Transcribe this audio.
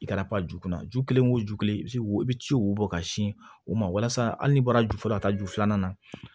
I ka pau kunna ju kelen o ju kelen i bi se o i bi ci o bɔ ka sin o ma walasa hali n'i bɔra ju fɔlɔ ka taa ju filanan na